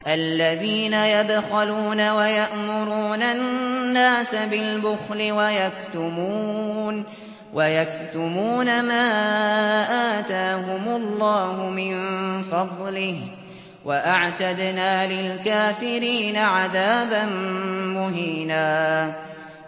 الَّذِينَ يَبْخَلُونَ وَيَأْمُرُونَ النَّاسَ بِالْبُخْلِ وَيَكْتُمُونَ مَا آتَاهُمُ اللَّهُ مِن فَضْلِهِ ۗ وَأَعْتَدْنَا لِلْكَافِرِينَ عَذَابًا مُّهِينًا